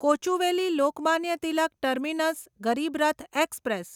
Kochuveli Lokmanya Tilak terminus Garib Rath express